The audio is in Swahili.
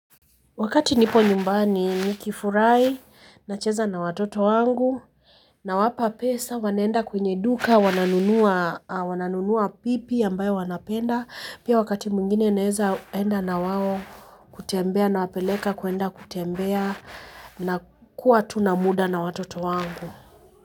Wakati nipo nyumbani nikifurahi nacheza na watoto wangu nawapa pesa wanaenda kwenye duka wananunua pipi ambayo wanapenda. Pia wakati mwingine naezaenda na wao kutembea nawapeleka kuenda kutembea na kuwa tu na muda na watoto wangu.